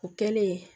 O kɛlen